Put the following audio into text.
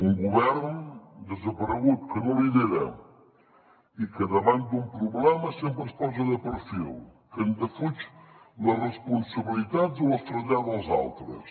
un govern desaparegut que no lidera i que davant d’un problema sempre es posa de perfil que en defuig les responsabilitats o les trasllada als altres